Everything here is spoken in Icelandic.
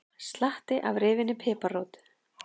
Slatti af rifinni piparrót